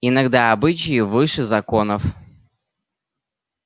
иногда обычаи выше законов